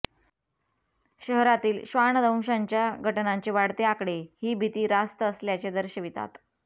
शहरातील श्वानदंशांच्या घटनांचे वाढते आकडे ही भीती रास्त असल्याचे दर्शवितात